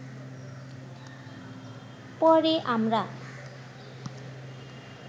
পরে আমরা